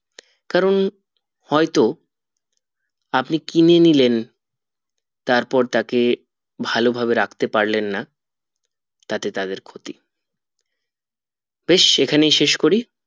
কারণ হয়তো আপনি কিনে নিলেন তারপর তাকে ভালো ভাবে রাখতে পারলেন না তাতে তাদের ক্ষতি বেশ এখানেই শেষ করি